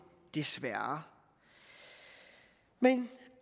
desværre men